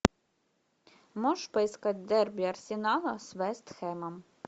можешь поискать дерби арсенала с вест хэмом